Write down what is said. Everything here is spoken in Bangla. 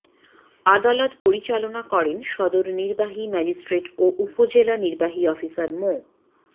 আদালত পরিচালনা করেন সদর নির্বাহী ম্যাজিস্ট্রেট ও উপজেলা নির্বাহী অফিসার মো